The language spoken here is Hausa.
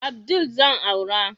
Abdul zan aura